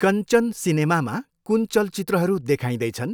कञ्चन सिनेमामा कुन चलचित्रहरू देखाइँदैछन्?